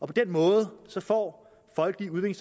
på den måde får folkelige